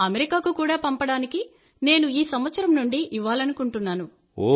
అమెరికాకు కూడా పంపడానికి నేను ఈ సంవత్సరం నుండి ఇవ్వాలనుకుంటున్నాను